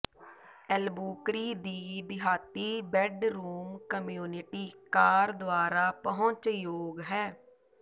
Albuquerque ਦੀ ਦਿਹਾਤੀ bedroom community car ਦੁਆਰਾ ਪਹੁੰਚਯੋਗ ਹੈ